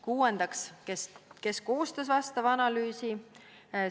Kuuendaks: kes koostas vastava analüüsi?